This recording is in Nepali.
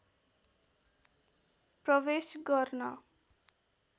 प्रवेश गर्न